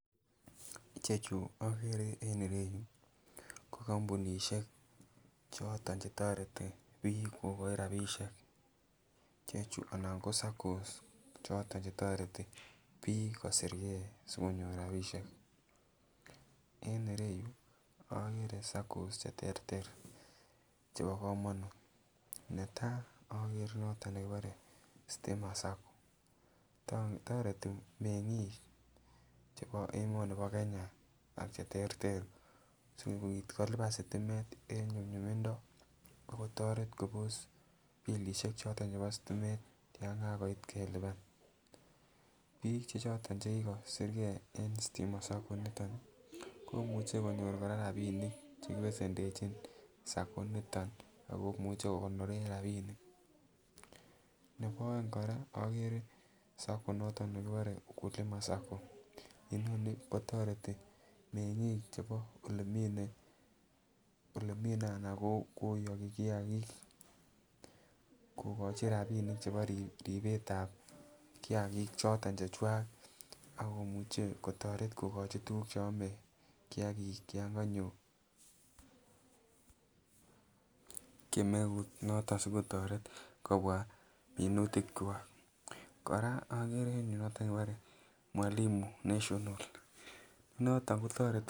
Ichechu okere on ireyuu ko kombunishek choton chetoreti bik kokochi rabishek chechuu anan ko SACCOS choton chetoreti bik kosir gee sikonyor rabishek en ireyuu okere SACCOS cheterter chebo komonut netai okere noton nekibore stima SACCOS toreti mengik chebo emoni bo Kenya ak cheterter sikopit kolipa sitimet en nyumnyumimdo akotoret Kobos bilishek choton chebo sitimet yon kakoit kelipan, bik che choton chekikosirgee en stima SACCO initon Nii komuche konyor Koraa rabinik chekibesendechi SACCO initon akomuche kokonoren rabinik. Nebo oeng koraa okere SACCO noto nekikure ukulima SACCO inoni kotoreti mengit chebo olemine anan kiyoki kiyakik kokochin rabinik chebo ribet tab kiyakik choton chechwak akomuche kotoret kokochi tukuk cheome kiyakik yon konyo kemeut noton sikototet kobwa minutik kwak. Koraa okere en yuu noton kibore mwalimu national noton kotoreti.